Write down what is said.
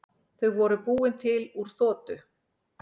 Þau voru búin til úr þoku.